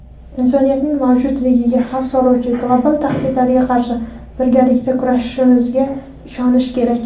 insoniyatning mavjudligiga xavf soluvchi global tahdidlarga qarshi birgalikda kurashishimizga ishonishi kerak.